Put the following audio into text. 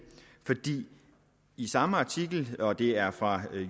i samme artikel og det er fra